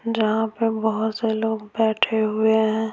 जहाँ पर बहुत से लोग बैठे हुए हैं।